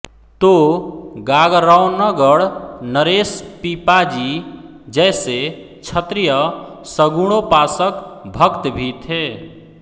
तो गागरौनगढ़ नरेश पीपाजी जैसे क्षत्रिय सगुणोपासक भक्त भी थे